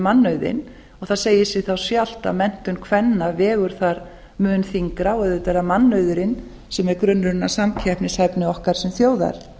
mannauðinn og það segir sig þá sjálft að menntun kvenna vegur þar mun þyngra og auðvitað er það mannauðurinn sem er grunnurinn að samkeppnishæfni okkar sem þjóðar